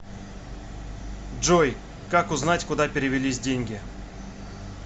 джой как узнать куда перевелись деньги